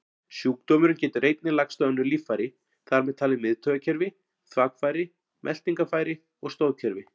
Sjúkdómurinn getur einnig lagst á önnur líffæri, þar með talið miðtaugakerfi, þvagfæri, meltingarfæri og stoðkerfi.